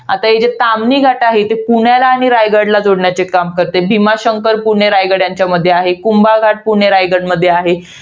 आता इथे ताम्हिणी घाट आहे, ते पुण्याला आणि रायगडला जोडण्याचे काम करते. भीमाशंकर हे पुणे रायगड यांच्यामध्ये आहे. कुंभा घाट पुणे रायगड मध्ये आहे.